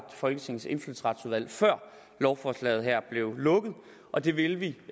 folketingets indfødsretsudvalg før lovforslaget her blev lukket og det vil vi